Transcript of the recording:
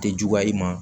Tɛ juguya i ma